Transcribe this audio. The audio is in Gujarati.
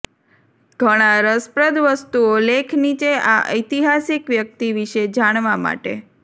ઘણા રસપ્રદ વસ્તુઓ લેખ નીચે આ ઐતિહાસિક વ્યક્તિ વિશે જાણવા માટે